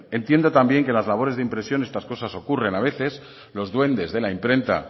entiendo también que las labores de impresión estas cosas ocurren a veces los duendes de la imprenta